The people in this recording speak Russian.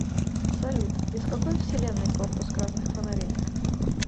салют из какой вселенной корпус красных фонарей